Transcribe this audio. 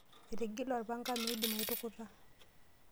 Etigile orpanga meidim aitukuta.